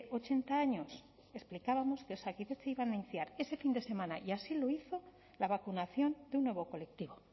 ochenta años explicábamos que osakidetza iba a iniciar ese fin de semana y así lo hizo la vacunación de un nuevo colectivo